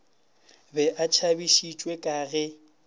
be a tšhabišitšwe ka ge